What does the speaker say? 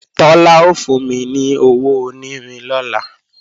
Tọ́lá ó fún mi ní owó onírin lọ́la